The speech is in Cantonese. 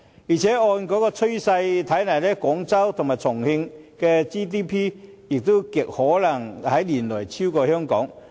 況且按趨勢來看，廣州和重慶的 GDP 亦極可能在年內超越香港。